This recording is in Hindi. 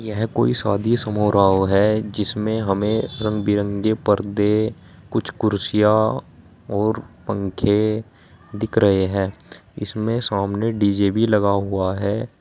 यह कोई शादी समारोह है जिसमें हमें रंग बिरंगे परदे कुछ कुर्सियां और पंखे दिख रहे हैं इसमें सामने डी_जे भी लगा हुआ है।